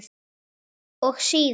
Og síðan?